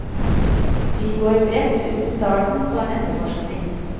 Vi går bredt ut i starten på en etterforskning.